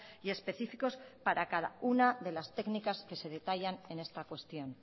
y específicos para cada una de las técnicas que se detallan en esta cuestión